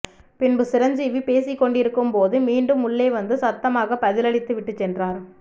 பின்பு சிரஞ்சீவி பேசிக்கொண்டிருக்கும் போது மீண்டும் உள்ளே வந்து சத்தமாகப் பதிலளித்து விட்டுச் சென்றார்